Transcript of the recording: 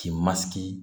K'i masigi